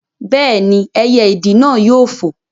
Bẹ́ẹ̀ni, ẹyẹ ìdì náà yóò fò